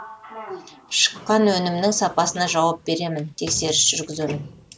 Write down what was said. шыққан өнімнің сапасына жауап беремін тексеріс жүргіземін